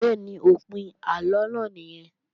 Bẹ́ẹ̀ni, òpin àlọ náà nìyẹn